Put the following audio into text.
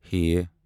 ہ